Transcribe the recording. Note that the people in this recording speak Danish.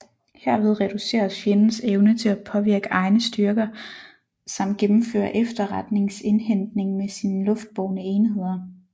Herved reduceres fjendens evne til påvirke egne styrker samt gennemføre efterretningsindhentning med sine luftbårne enheder